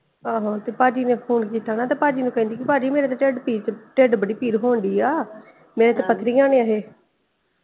ਆਹੋ ਤੇ ਪਾਜੀ ਨੇ phone ਕਿੱਤਾ ਨਾ ਤੇ ਭਾਜੀ ਨੂੰ ਕਹਿੰਦੀ ਕ ਓ ਆਜੀ ਮੇਰੀ ਤੇ ਢਿੱਡਪੀੜ ਢਿੱਡ ਬੜੀ ਪੀੜ ਹੋਣ ਡਈ ਆ ਨਹੀਂ ਤੇ ਪੱਥਰੀਆਂ ਨੇ ਏਹ੍ਹ।